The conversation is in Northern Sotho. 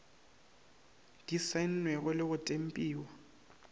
di saennwego le go tempiwa